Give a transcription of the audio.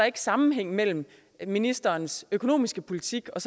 ikke sammenhæng mellem ministerens økonomiske politik og